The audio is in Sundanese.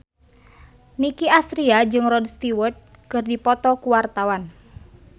Nicky Astria jeung Rod Stewart keur dipoto ku wartawan